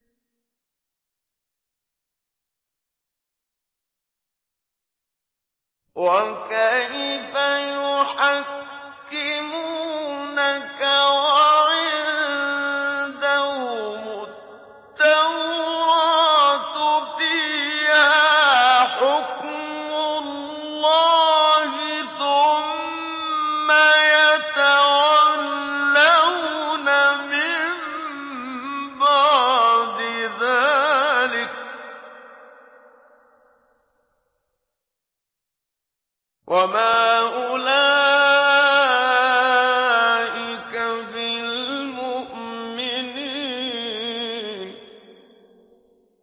وَكَيْفَ يُحَكِّمُونَكَ وَعِندَهُمُ التَّوْرَاةُ فِيهَا حُكْمُ اللَّهِ ثُمَّ يَتَوَلَّوْنَ مِن بَعْدِ ذَٰلِكَ ۚ وَمَا أُولَٰئِكَ بِالْمُؤْمِنِينَ